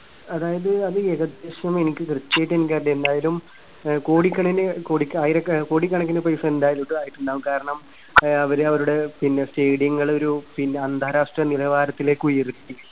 അതായത് അത് ഏകദേശം എനിക്ക് കൃത്യായിട്ട് എനിക്കറിയില്ല ഏതായാലും ആഹ് കോടിണക്കിന് കോടി ആയിര കോടികണക്കിന് പൈസ എന്തായാലും ആയിട്ടുണ്ടാകും. കാരണം ആഹ് അവര് അവരുടെ പിന്നെ stadium ങ്ങള് ഒരു പിന്നെ അന്താരാഷ്ട്ര നിലവാരത്തിലേക്ക് ഉയർത്തി.